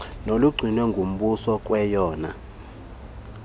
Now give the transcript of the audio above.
nolugcinwe ngumbuso ngeyona